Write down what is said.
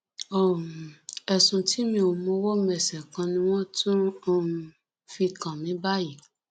um ẹsùn tí mi ò mọwọ mẹsẹ kan ni wọn tún um fi kàn mí báyìí